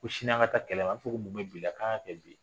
Ko sini an ka taa kɛlɛ la a b'a fɔ ko mun bɛ bi la k'an ka kɛ bi ye